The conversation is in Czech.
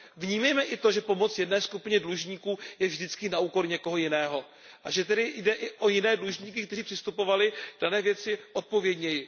Vnímejme i to, že pomoc jedné skupině dlužníků je vždycky na úkor někoho jiného a že tedy jde i o jiné dlužníky, kteří přistupovali k dané věci odpovědněji.